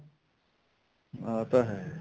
ਆਹ ਤਾਂ ਹੈ